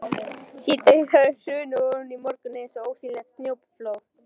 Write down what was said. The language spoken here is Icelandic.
Síðdegið hafði hrunið ofan í morguninn eins og ósýnilegt snjóflóð.